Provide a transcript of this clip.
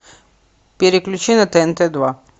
переключи на тнт два